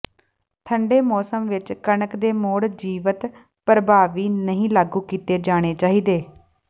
ਠੰਡੇ ਮੌਸਮ ਵਿਚ ਕਣਕ ਦੇ ਮੁੜ ਜੀਵੰਤ ਪ੍ਰਭਾਵੀ ਨਹੀਂ ਲਾਗੂ ਕੀਤੇ ਜਾਣੇ ਚਾਹੀਦੇ